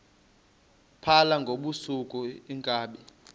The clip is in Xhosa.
phala ngobusuku iinkabi